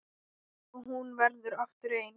Og hún verður aftur ein.